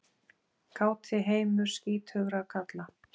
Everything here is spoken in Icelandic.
Káti heimur skítugra kalla.